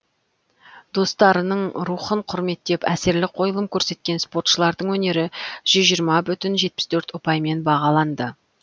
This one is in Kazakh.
достарының рухын құрметтеп әсерлі қойылым көрсеткен спортшылардың өнері жүз жиырма бүтін жетпіс төрт ұпаймен бағаланды